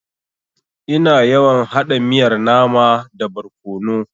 Ina yawan haɗa miyar nama da barkono.